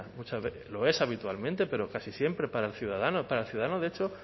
lo es habitualmente pero casi siempre para el ciudadano para el ciudadano de hecho